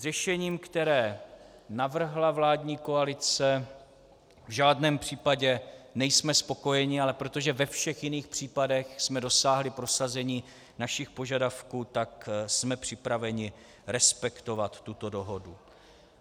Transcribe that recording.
S řešením, které navrhla vládní koalice, v žádném případě nejsme spokojeni, ale protože ve všech jiných případech jsme dosáhli prosazení našich požadavků, tak jsme připraveni respektovat tuto dohodu.